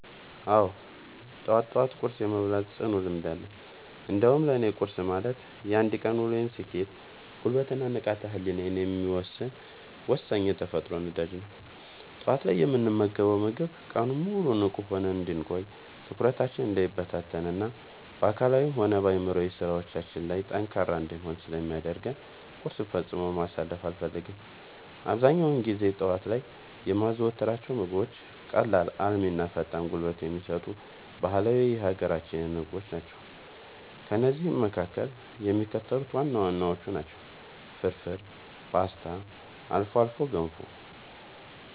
አዎ፣ ጠዋት ጠዋት ቁርስ የመብላት ጽኑ ልምድ አለኝ። እንዲያውም ለእኔ ቁርስ ማለት የአንድ ቀን ውሎዬን ስኬት፣ ጉልበት እና ንቃተ ህሊናዬን የሚወሰን ወሳኝ የተፈጥሮ ነዳጅ ነው። ጠዋት ላይ የምንመገበው ምግብ ቀኑን ሙሉ ንቁ ሆነን እንድንቆይ፣ ትኩረታችን እንዳይበታተን እና በአካላዊም ሆነ በአእምሯዊ ስራዎቻችን ላይ ጠንካራ እንድንሆን ስለሚያደርገን ቁርስን ፈጽሞ ማሳለፍ አልፈልግም። አብዛኛውን ጊዜ ጠዋት ላይ የማዘወትራቸው ምግቦች ቀላል፣ አልሚ እና ፈጣን ጉልበት የሚሰጡ ባህላዊ የሀገራችንን ምግቦች ናቸው። ከእነዚህም መካከል የሚከተሉት ዋና ዋናዎቹ ናቸው፦ ፍርፍር: ፖስታ: አልፎ አልፎ ገንፎ